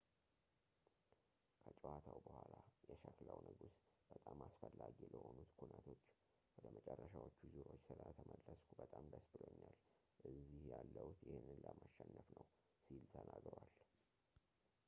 ከጨዋታው በኋላ የሸክላው ንጉስ በጣም አስፈላጊ ለሆኑት ኩነቶች ወደ መጨረሻዎቹ ዙሮች ስለተመለስኩ በጣም ደስ ብሎኛል እዚህ ያለሁት ይህንን ለማሸነፍ ነው ሲል ተናግሯል